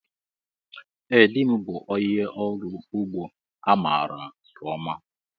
Ee dị m bụ ónyé ọrụ ụgbọ a maara nke ọma.